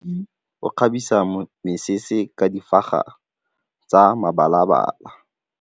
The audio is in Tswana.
Moroki o kgabisa mesese ka difaga tsa mebalabala.